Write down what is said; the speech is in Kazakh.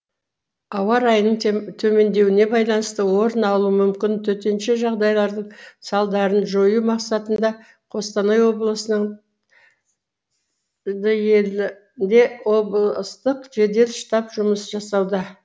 ауа райының төмендеуіне байланысты орын алуы мүмкін төтенше жағдайлардың салдарын жою мақсатында қостанай облысының облыстық жедел штаб жұмыс жасауда